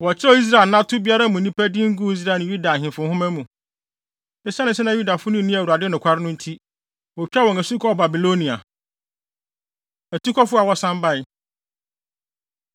Wɔkyerɛw Israel anato biara mu nnipa din guu Israel ne Yuda Ahemfo nhoma mu. Esiane sɛ na Yudafo no nni Awurade nokware no nti, wotwaa wɔn asu kɔɔ Babilonia. Atukɔfo A Wɔsan Bae